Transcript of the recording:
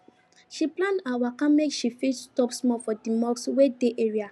she plan her waka make she fit stop small for the mosque wey dey area